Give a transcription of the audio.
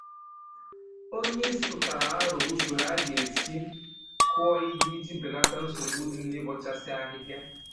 Onye isi tụtara aro usoro a ga-esi kụọ ihe iji belata nsogbu dị na-ịbọchasị ahịhịa